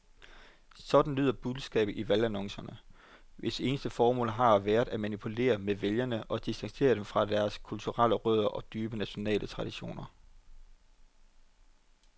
Sådan lyder budskabet i valgannoncerne, hvis eneste formål har været at manipulere med vælgere og distancere dem fra deres kulturelle rødder og dybe nationale traditioner.